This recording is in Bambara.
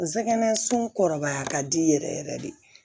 Nsɛgɛnsun kɔrɔbaya ka di yɛrɛ yɛrɛ de